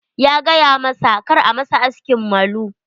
Ya gayamasa kar a masa askin malu.